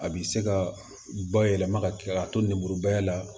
A bi se ka bayɛlɛma ka kɛ ka to n'ibururubayɛlɛ la